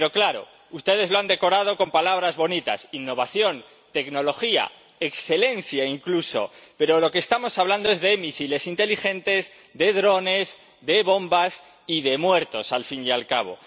Pero claro, ustedes lo han decorado con palabras bonitas innovación, tecnología, excelencia incluso, pero de lo que estamos hablando es de misiles inteligentes, de drones, de bombas, y de muertos, al fin y al cabo.